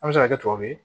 An bɛ se ka kɛ tubabu ye